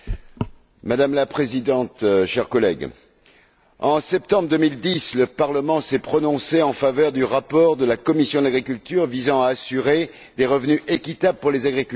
Madame la présidente, chers collègues, en septembre 2010, le Parlement s'est prononcé en faveur du rapport de la commission de l'agriculture visant à assurer des revenus équitables aux agriculteurs.